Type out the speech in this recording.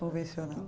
Convencional.